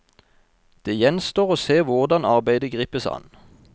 Det gjenstår å se hvordan arbeidet gripes an.